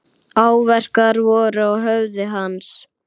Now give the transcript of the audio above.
Áverkar voru á höfði hans.